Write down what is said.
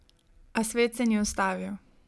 A svet se ni ustavil.